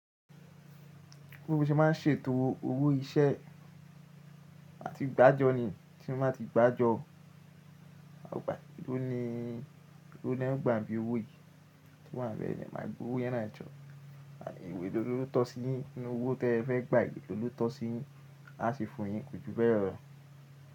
Bí mó ṣe máa ń ṣètò owó iṣẹ́ màti gbájọ ni tí mó báa ti gbájọ, ni, ló lọ gbà bí owó yìí tí wọ́n àbẹ̀rẹ̀ máa gba owó yẹn na jọ, àyè elọ́ tó sí yín nínú owó tí ẹ fẹ́ gbà yii elọ ló tọ́ sí yín, a sì fún yín kojú bẹ́ẹ́ lo.